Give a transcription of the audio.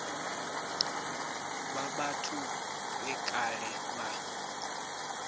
vha vhathu vhe kale vha